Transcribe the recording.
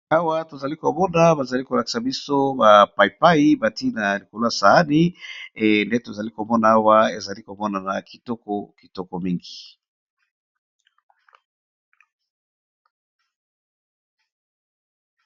Awa tozali komona bazali kolakisa biso ba paipai batina ya nikoloa saani nde tozali komona awa ezali komonana kitoko kitoko mingi.